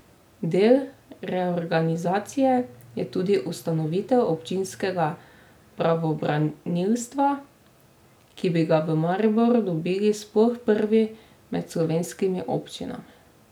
Del reorganizacije je tudi ustanovitev občinskega pravobranilstva, ki bi ga v Mariboru dobili sploh prvi med slovenskimi občinami.